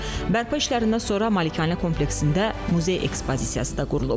Bərpa işlərindən sonra malikanə kompleksində muzey ekspozisiyası da qurulub.